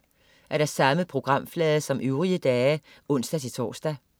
Samme programflade som øvrige dage (ons-tors)